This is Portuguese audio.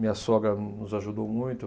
Minha sogra no nos ajudou muito.